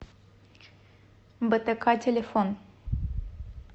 бтк телефон